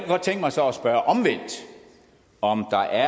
godt tænke mig så at spørge omvendt om der